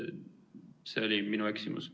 See oli minu eksimus.